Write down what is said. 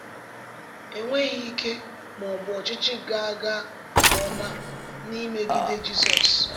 Enweghị ike ma ọ bụ ọchịchị ga-aga nke ọma n’imegide Jizọs.